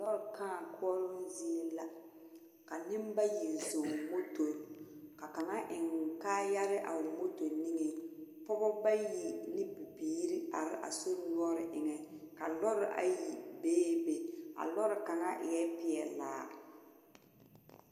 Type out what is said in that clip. Kãã koɔroo zie la ka noba zɔŋ motori ka kaŋa eŋ kaayare a o moto niŋeŋ. Pɔgeba bayi ane bibiiri are a sori noɔre eŋɛ. Ka lɔre ayi bee be. A lɔre kaà eɛ peɛlaa.